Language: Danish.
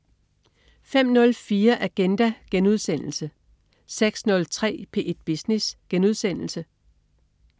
05.04 Agenda* 06.03 P1 Business*